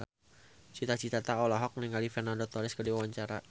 Cita Citata olohok ningali Fernando Torres keur diwawancara